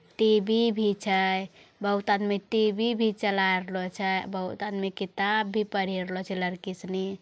टी.वी. भी छै | बहुत आदमी टी.वी. भी चला रहलो छे | बहुत आदमी किताब भी पढ़ी रहलो छे | लड़की सिनी --